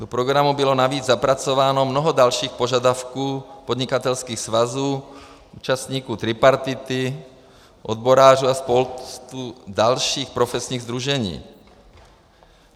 Do programu bylo navíc zapracováno mnoho dalších požadavků podnikatelských svazů, účastníků tripartity, odborářů a spousty dalších profesních sdružení.